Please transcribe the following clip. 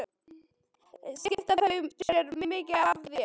Skipta þau sér mikið af þér?